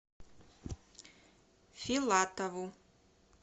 филатову